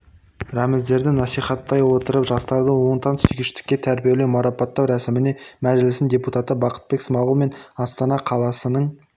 рәміздерді насихаттай отырып жастарды отансүйгіштікке тәрбиелеу марапаттау рәсіміне мәжілісінің депутаты бақытбек смағұл мен астана қаласының